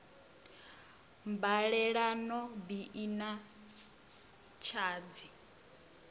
mbalelano bi i na tshadzhi